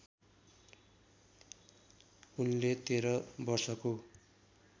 उनले १३ वर्षको